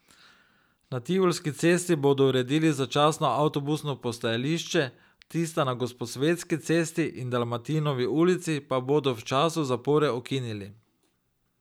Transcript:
Na Tivolski cesti bodo uredili začasno avtobusno postajališče, tista na Gosposvetski cesti in Dalmatinovi ulici pa bodo v času zapore ukinili.